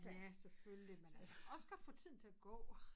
Ja selvfølgelig men altså også godt få tiden til at gå